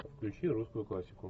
включи русскую классику